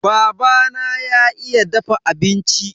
Babana ya iya dafa abinci.